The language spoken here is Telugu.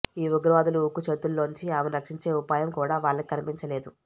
ఈ ఉగ్రవాదుల ఉక్కు చేతుల్లోంచి ఆమెను రక్షించే ఉపాయం కూడా వాళ్లకి కనిపించలేదు